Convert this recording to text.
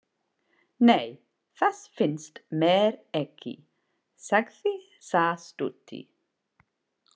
Nei, það finnst mér ekki, sagði sá stutti.